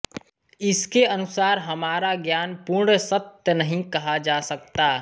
इसके अनुसार हमारा ज्ञान पूर्ण सत्य नहीं कहा जा सकता